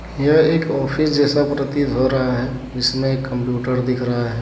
यह एक ऑफिस जैसा प्रतीत हो रहा है जिसमें कंप्यूटर दिख रहा है।